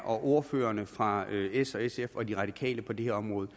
og ordførerne fra s sf og de radikale på det her område